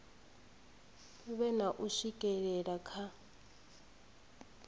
vhe na u swikelela kha